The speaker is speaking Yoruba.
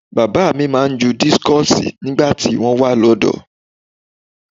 Bàbá mi máa ń ju dískọ̀sì nígbà tí wọ́n wà lọ́dọ̀ọ́.